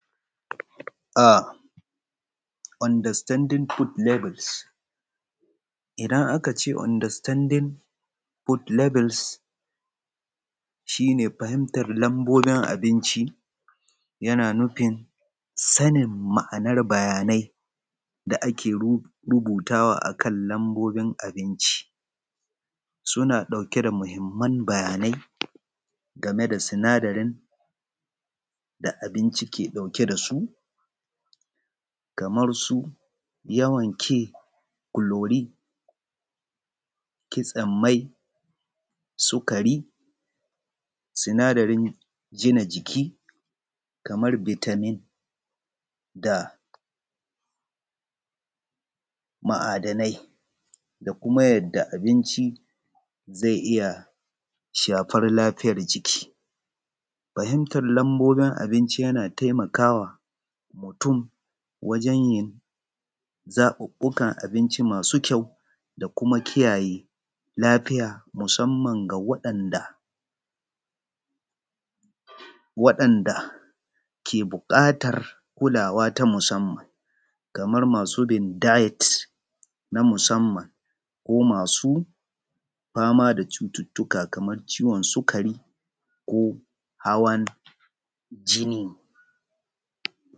Understanding food labels, idan aka ce Understanding food lebels shi ne fahimtar lambonin abinci yana nufin sanin ma'anar bayanai da ake rubutawa a kan lambobin abinci, suna dauke da mahimman bayanai game da sinadari da abinci ke dauke da su, yawan ke clori kitson mai, sikari sinadari gina jiki kamar vitamin da ma'adanai da kuma yadda abinci shafar lafiya jiki. Fahimtar lambobin abinci yana taimakawa mutum wajen yin zaɓuɓɓukan abinci masu ƙyau da ƙara lafiya musamman ga wadan ke buƙatar kulawa ta musamman kamar bin diets na musamman ko.masu fama da cututtuka kamar ciwon sikari ko hawan jini.